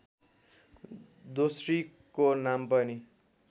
दोस्रीको नाम पनि